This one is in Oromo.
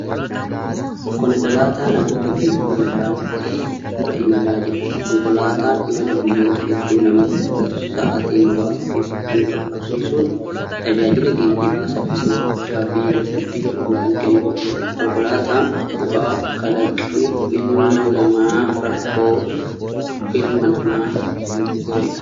Konkolaataa namoota geejibuun daandii irra imalaa jiru. Konkolaataan imala guyyoota hedduu namatti fudhatu sa'atii muraasa keessatti nu qaqqabsiisuun tajaajila geejjibaa saffisa guddaa fi dadhabbii hir'isu kan kennudha. Konkolaataan bu'aa kalaqni ilma namaa rakkoo ilma namaa ittiin furedha.